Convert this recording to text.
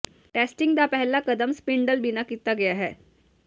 testing ਦਾ ਪਹਿਲਾ ਕਦਮ ਸਪਿੰਡਲ ਬਿਨਾ ਕੀਤਾ ਗਿਆ ਹੈ